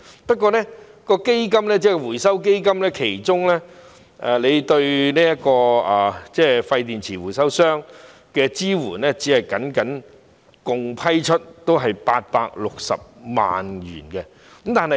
不過，回收基金對廢電池回收商的支援，僅僅合共批出860萬元。